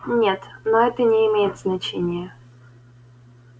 нет но это не имеет значения